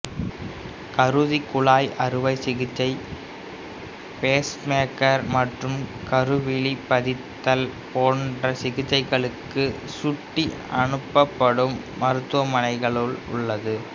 குருதிக்குழாய் அறுவை சிகிச்சை பேஸ்மேக்கர் மற்றும் கருவிழி பதித்தல் போன்ற சிகிச்சைகளுக்கு சுட்டி அனுப்பப்படும் மருத்துவமனையாகவும் உள்ளது